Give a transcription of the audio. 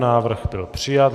Návrh byl přijat.